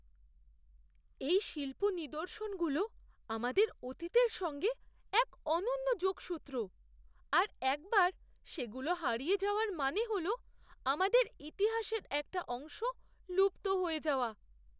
এই শিল্প নিদর্শনগুলো আমাদের অতীতের সঙ্গে এক অনন্য যোগসূত্র, আর একবার সেগুলো হারিয়ে যাওয়ার মানে হল আমাদের ইতিহাসের একটা অংশ লুপ্ত হয়ে যাওয়া।